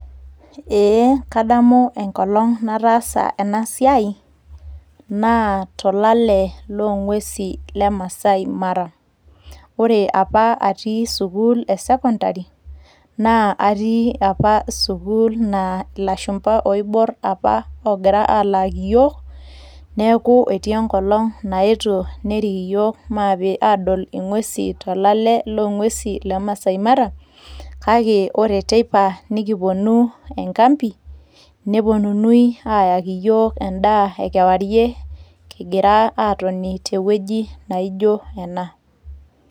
ee kadamu enkolong nataasa ena siai naa tolale loong'uesi le maasai mara ore apa atii sukuul e sekondari naa atii apa sukuul naa ilashumba oiborr apa oogira aalaki iyiok neeku etii enkolong naetuo nerik yiok maape adol ing'uesi tolale loong'uesi le maasai mara kake ore teipa nikiponu enkampi neponunui ayaki yiok endaa e kewarie kingira aatoni tewueji naijo ena.